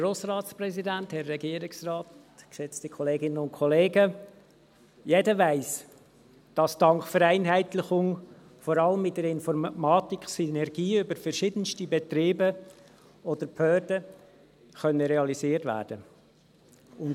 Jeder weiss, dass dank Vereinheitlichung vor allem in der Informatik Synergien über verschiedenste Betriebe oder Behörden realisiert werden können.